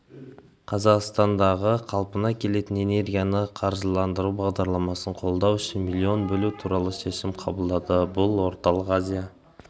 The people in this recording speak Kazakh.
қазақстандағы қалпына келетін энергияны қаржыландыру бағдарламасын қолдау үшін миллион бөлу туралы шешім қабылдады бұл орталық азия